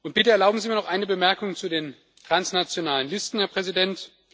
Bitte erlauben Sie mir noch eine Bemerkung zu den transnationalen Listen, Herr Präsident.